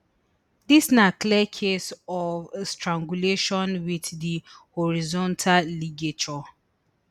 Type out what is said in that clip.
dis na clear case of strangulation wit di horizontal ligature